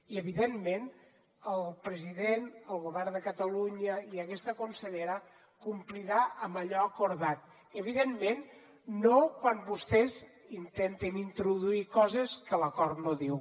i evidentment el president el govern de catalunya i aquesta consellera compliran amb allò acordat evidentment no quan vostès intenten introduir coses que l’acord no diu